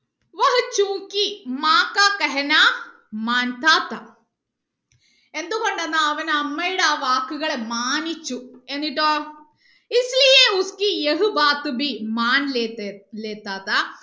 എന്തുകൊണ്ടെന്നാൽ അവൻ അമ്മയുടെ ആ വാക്കുകളെ മാനിച്ചു എന്നിട്ടോ